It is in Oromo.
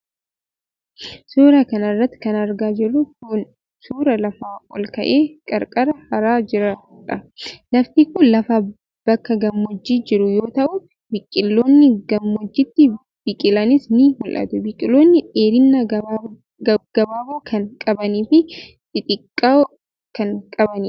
Suura kana irratti kan argaa jirru kun, suura lafa ol ka'aa qarqaraa haraa jirr dha. Lafti kun lafa bakka gammoojji jiru yoo ta'u, biqiloonni gammoojjitti biqilanis ni mul'atu. Biqiloonni dheerina gaggabaaboo kan qabanii fi xixiqqoo kan qabaniidha.